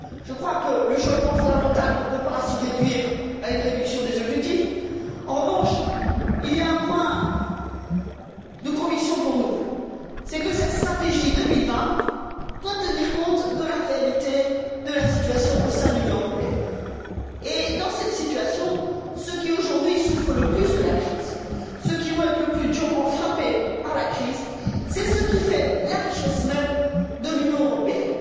Je crois que le changement fondamental ne peut pas se réduire à une réduction des objectifs. En revanche, ce dont nous sommes convaincus, c'est que cette stratégie 2020 doit tenir compte de la réalité de la situation au sein de l'Union européenne. Et, dans cette situation, ceux qui, aujourd'hui, souffrent le plus de la crise, ceux qui vont être le plus durement frappés par la crise, c'est ceux qui font la richesse même de l'Union européenne.